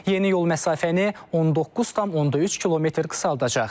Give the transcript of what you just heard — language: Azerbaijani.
Yeni yol məsafəni 19,3 km qısaldacaq.